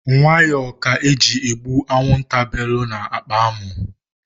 Nwayọ ka eji egbu anwụnta bèlù na akpa amụ.